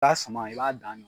Baa sama i b'a dan